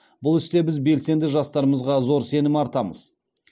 бұл істе біз белсенді жастарымызға зор сенім артамыз